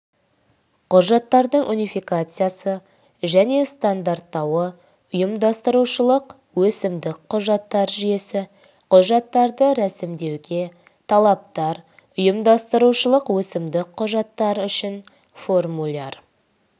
құжаттардың унификациясы және стандарттауы ұйымдастырушылық өкімдік құжаттар жүйесі құжаттарды ресімдеуге талаптар ұйымдастырушылық өкімдік құжаттар үшін формуляр